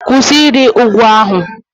Kwụsị ịrị ugwu ahụ!